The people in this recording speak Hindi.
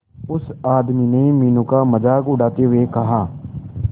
उस आदमी ने मीनू का मजाक उड़ाते हुए कहा